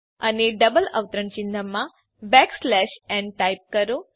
અને ડબલ અવતરણ ચિન્હમાં બેકસ્લેશ ન ટાઈપ કરો